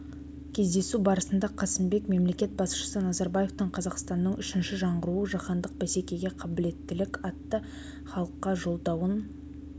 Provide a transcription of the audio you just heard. кездесу барысында қасымбек мемлекет басшысы назарбаевтың қазақстанның үшінші жаңғыруы жаһандық бәсекеге қабілеттілік атты халыққа жолдауын